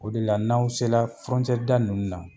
O de la n'aw sela fɔrɔncɛrida ninnu na